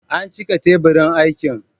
An cika teburin aikin.